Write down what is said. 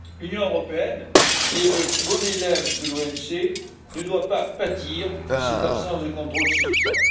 L'Union européenne, qui est le bon élève de l'OMC, ne doit pas pâtir de cette absence de contrôle suffisant.